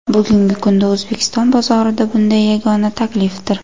Bugungi kunda O‘zbekiston bozorida bunday yagona taklifdir.